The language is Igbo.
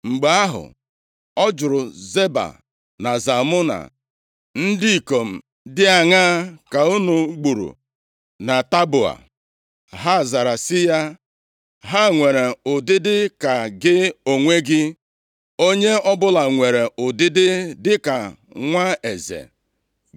Mgbe ahụ, ọ jụrụ Zeba na Zalmuna, “Ndị ikom dị aṅaa ka unu gburu na Taboa?” Ha zara sị ya, “Ha nwere ụdịdị ka gị onwe gị, onye ọbụla nwere ụdịdị dịka nwa eze.”